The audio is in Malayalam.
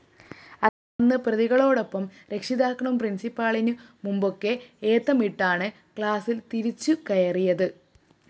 അന്ന് പ്രതികളോടൊപ്പം രക്ഷിതാക്കളും പ്രിന്‍സിപ്പലിനു മുമ്പാകെ ഏത്തമിട്ടിട്ടാണ് ക്ലാസ്സില്‍ തിരിച്ചുകയറിയത്